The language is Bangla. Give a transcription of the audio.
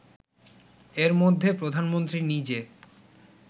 এর মধ্যে প্রধানমন্ত্রী নিজে